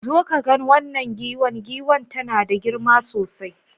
Zo ka gan wanan giwan. giwan tana da girma sosai